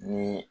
Ni